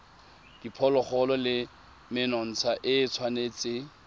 diphologolo le menontsha e tshwanetse